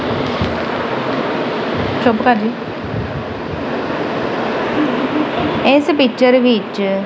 ਚੁੱਪ ਕਰ ਜੀ ਇਸ ਪੀਕਚਰ ਵਿੱਚ--